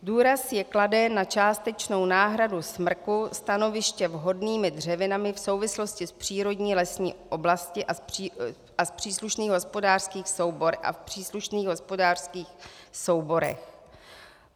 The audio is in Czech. Důraz je kladen na částečnou náhradu smrku stanoviště vhodnými dřevinami v souvislosti s přírodní lesní oblastí a v příslušných hospodářských souborech.